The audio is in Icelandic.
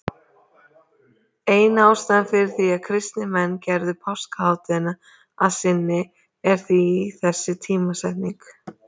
Ein ástæðan fyrir því að kristnir menn gerðu páskahátíðina að sinni er því þessi tímasetning.